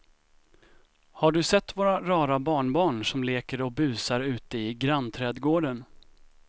Har du sett våra rara barnbarn som leker och busar ute i grannträdgården!